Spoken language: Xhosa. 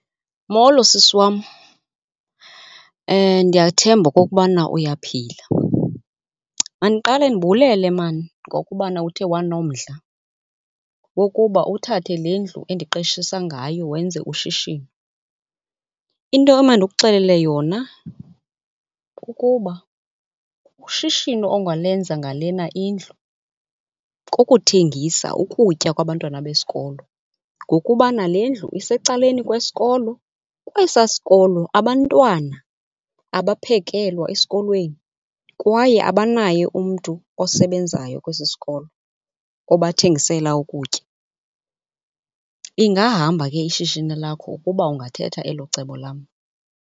Molo sisi wam. Ndiyathemba okokubana uyaphila. Mandiqale ndibulele mani ngokubana uthe wanonomdla wokuba uthathe le ndlu endiqeshisa ngayo wenze ushishino. Into emandikuxelele yona kukuba ushishino ongalenza ngalena indlu kukuthengisa ukutya kwabantwana besikolo ngokubana le ndlu isecaleni kwesikolo. Kwesaa sikolo abantwana abaphekelwa esikolweni, kwaye abanaye umntu osebenzayo kwesi sikolo obathengisela ukutya. Ingahamba ke ishishini lakho ukuba ungathetha elo cebo lam.